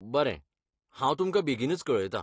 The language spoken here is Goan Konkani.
बरें, हांव तुमकां बेगीनच कळयतां.